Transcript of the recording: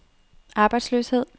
arbejdsløshed